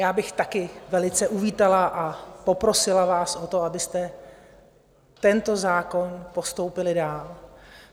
Já bych taky velice uvítala a poprosila vás o to, abyste tento zákon postoupili dál.